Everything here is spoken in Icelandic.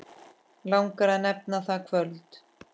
Langar að nefna það kvöld.